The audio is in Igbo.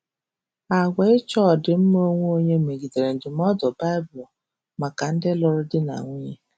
Àgwà ịchọ ọdịmma onwe onye megidere ndụmọdụ Baịbul maka ndị lụrụ di na nwunye.